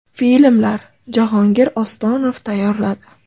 Filmlar: Jahongir Ostonov tayyorladi.